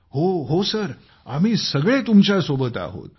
हो हो सर आम्ही सगळे तुमच्या सोबत आहोत